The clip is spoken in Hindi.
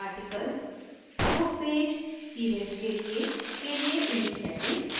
article book page events के लिए image settings